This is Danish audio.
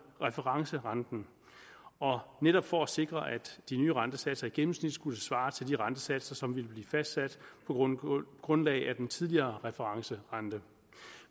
referencerenten netop for at sikre at de nye rentesatser i gennemsnit skulle svare til de rentesatser som ville blive fastsat på grundlag af den tidligere referencerente